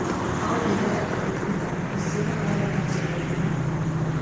Oigire atĩ ũrigitani ũcio warĩ na njĩra igĩrĩ.